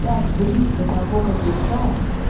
так близко сапог от лица